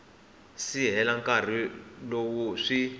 si hela nkarhi lowu swi